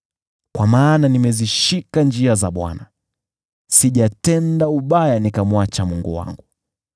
Kwa maana nimezishika njia za Bwana ; sijatenda ubaya nikamwacha Mungu wangu.